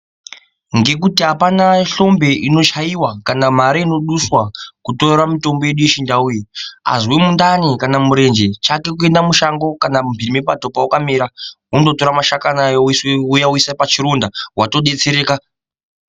Ndirikuti apana hlombe inochaiwa kana mare inoduswa kutora mutombo yedu yechindau iyi azwe mundani kana murenje chake kuende mushango kana mumbii mepato pawakamira wondotora mashakani ayo wouya woise pachironda watodetsereka.